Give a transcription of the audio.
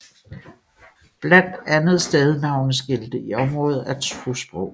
Blandt andet stednavneskilte i området er tosprogede